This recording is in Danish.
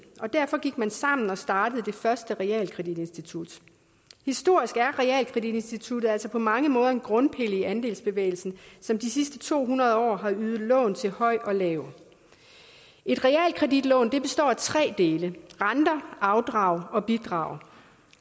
og derfor gik man sammen og startede det første realkreditinstitut historisk er realkreditinstitutter altså på mange måder en grundpille i andelsbevægelsen som de sidste to hundrede år har ydet lån til høj og lav et realkreditlån består af tre dele renter afdrag og bidrag